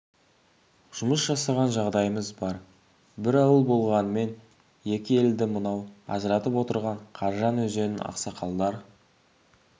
жұмыс жасаған жағдайымыз бар бір ауыл болғанымен екі елді мынау ажыратып отырған қаржан өзенін ақсақалдар